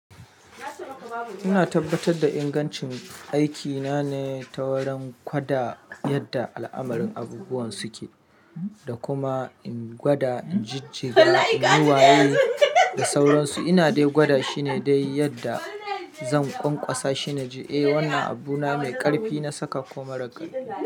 Ina tabbatar da ingancin aikina ne ta wurin gwada yadda al'amarin abubuwan suke, da kuma in gwada inji, jiga, niwaye da sauransu. Ina dai gwada shine dai yadda zan ƙwaƙwasa shine ji, eh wannan abu na mai ƙarfi na saka ko mara ƙarfi.